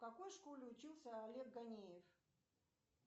в какой школе учился олег ганеев